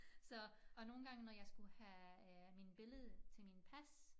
Så og nogle gange når jeg skulle have øh min billede til min pas